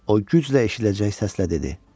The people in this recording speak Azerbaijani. O güclə eşidiləcək səslə dedi: